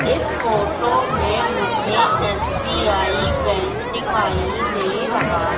इस फोटो में मुझे एस_बी_आई बैंक दिखाई दे रहा--